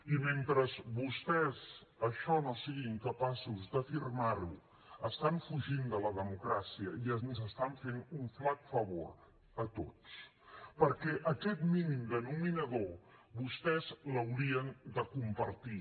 i mentre vostès això no siguin capaços d’afirmar ho estan fugint de la democràcia i ens estan fent un flac favor a tots perquè aquest mínim denominador vostès l’haurien de compartir